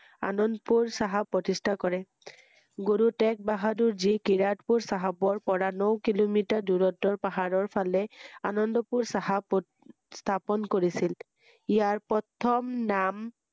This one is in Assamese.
আনন্দপুৰ চাহাব প্ৰতিস্হা কৰে ৷গুৰু টেগ বাহাদুৰ যি কিয়াতপুৰ চাহাবৰ পৰা ন কিলোমিটাৰ দুৰত্বৰ পাহাৰৰ ফালে আনন্দপুৰ চাহাব স্হাপন কৰিছিল৷ইয়াৰ প্ৰথম নাম